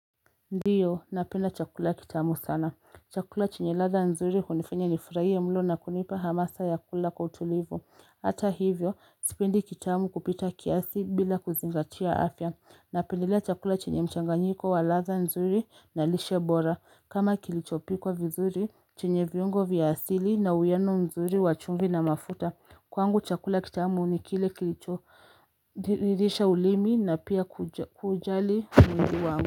Ndio napenda chakula kitamu sana chakula chenye radha nzuri hunifanya nifurahie mno na kunipa hamasa ya kula kwa utulivu Hata hivyo sipendi kitamu kupita kiasi bila kuzingatia afya napendelea chakula chenye mchanganyiko wa radha nzuri na lishe bora kama kilichopikwa vizuri chenye viungo vya asili na uwiano mzuri wa chumvi na mafuta kwangu chakula kitamu ni kile kilicholidhisha ulimi na pia kujali mwili wangu.